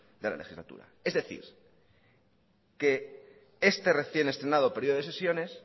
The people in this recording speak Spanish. de la legislatura es decir que este recién estrenado periodo de sesiones